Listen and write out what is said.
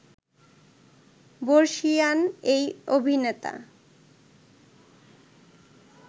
বর্ষীয়ান এই অভিনেতা